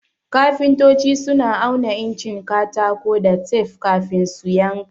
Kafintoci suna auna incin katako da tef kafin su yanka.